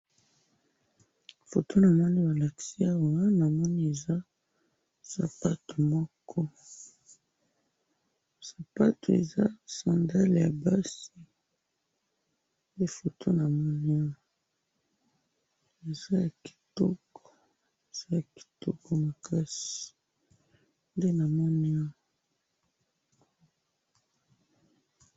Namoni sapato moko ya kitoko ya basi.